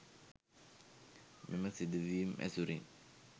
මෙම සිදුවීම් ඇසුරින්